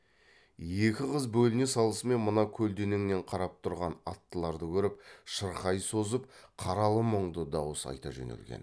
екі қыз бөліне салысымен мына көлденеңнен қарап тұрған аттыларды көріп шырқай созып қаралы мұңды дауыс айта жөнелген